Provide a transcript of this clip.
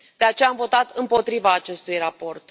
De aceea am votat împotriva acestui raport.